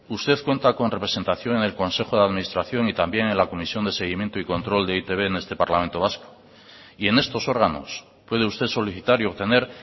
usted cuenta con representación en el consejo de administración y también en la comisión de seguimiento y control de e i te be en este parlamento vasco y en estos órganos puede usted solicitar y obtener